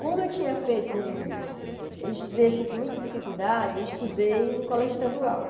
Como eu tinha feito um eu estudei assim com muita dificuldade, eu estudei no colégio estadual.